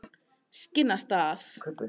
Skinnastað